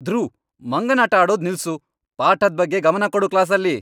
ಧ್ರುವ್, ಮಂಗನಾಟ ಆಡೋದ್ ನಿಲ್ಸು, ಪಾಠದ್ ಬಗ್ಗೆ ಗಮನ ಕೊಡು ಕ್ಲಾಸಲ್ಲಿ!